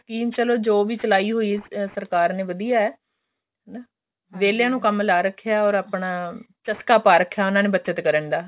scheme ਵੈਸੇ ਜੋ ਵੀ ਚਲਾਈ ਹੋਈ ਸਰਕਾਰ ਨੇ ਵਧੀਆ ਹਨਾ ਵੇਲਹਿਆ ਨੂੰ ਕੰਮ ਲਾ ਰੱਖਿਆ or ਆਪਣਾ ਚਸਕਾ ਪਾ ਰੱਖਿਆ ਆਪਣਾ ਉਹਨਾਂ ਨੇ ਬੱਚਤ ਕਰਨ ਦਾ